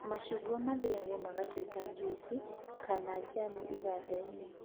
Macungwa mathĩagwo magatũika njuici kana njamu iganda-inĩ